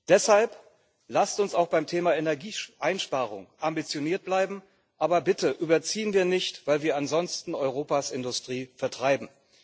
Deshalb lasst uns auch beim Thema Energieeinsparung ambitioniert bleiben, aber bitte überziehen wir nicht, weil wir ansonsten Europas Industrie vertreiben.